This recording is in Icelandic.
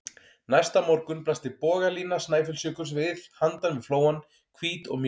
Næsta morgun blasti bogalína Snæfellsjökuls við handan við flóann, hvít og mjúk.